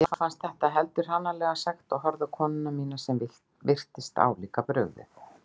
Mér fannst þetta heldur hranalega sagt og horfði á konuna mína sem virtist álíka brugðið.